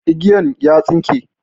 Igiyan ya tsinke.